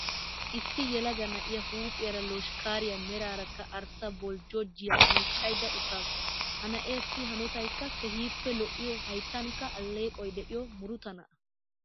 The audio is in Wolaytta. Issi yelaga na'iyaa huuphiyaara loshkkaariyaa meraarakka arssa boljjojiyaa miiccayda uttaasu. Ha na'eessi hanotaykka keehiippe lo"iyoo hayttankka alleeqoy de'iyoo muruta na'a.